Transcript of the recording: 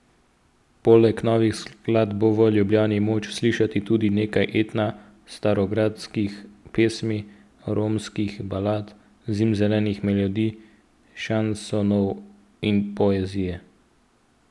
Poleg novih skladb bo v Ljubljani moč slišati tudi nekaj etna, starogradskih pesmi, romskih balad, zimzelenih melodij, šansonov in poezije.